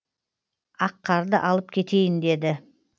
аққарды алып кетейін деді